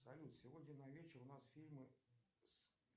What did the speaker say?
салют сегодня на вечер у нас фильмы с